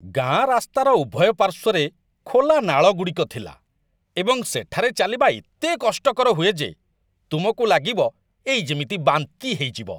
ଗାଆଁ ରାସ୍ତାର ଉଭୟ ପାର୍ଶ୍ୱରେ ଖୋଲା ନାଳଗୁଡ଼ିକ ଥିଲା, ଏବଂ ସେଠାରେ ଚାଲିବା ଏତେ କଷ୍ଟକର ହୁଏ ଯେ ତୁମକୁ ଲାଗିବ, ଏଇ ଯେମିତି ବାନ୍ତି ହେଇଯିବ!